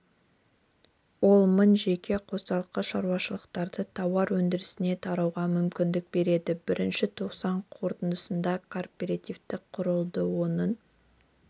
ол мың жеке қосалқы шаруашылықтарды тауар өндірісіне тартуға мүмкіндік береді бірінші тоқсан қорытындысында кооператив құрылды оның